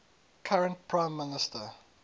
current prime minister